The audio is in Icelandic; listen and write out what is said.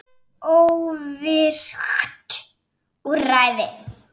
Óvirkt úrræði?